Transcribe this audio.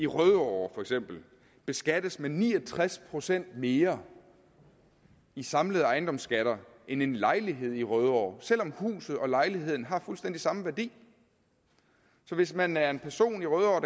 rødovre beskattes med ni og tres procent mere i samlede ejendomsskatter end en lejlighed i rødovre selv om huset og lejligheden har fuldstændig samme værdi så hvis man er en person i rødovre